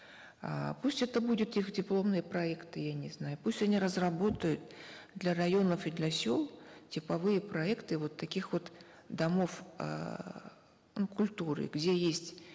э пусть это будет их дипломный проект я не знаю пусть они разработают для районов и для сел типовые проекты вот таких вот домов эээ ну культуры где есть